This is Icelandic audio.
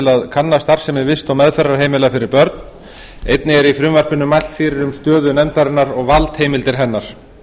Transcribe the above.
til kanna starfsemi vist og meðferðarheimila fyrir börn einnig er í frumvarpinu mælt fyrir um stöðu nefndarinnar og valdheimildir hennar